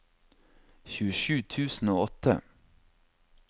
tjuesju tusen og åtte